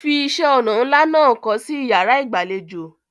Fi iṣẹ́-ọnà ńlá náà kọ́ sí ìyàrá-ìgbàlejò.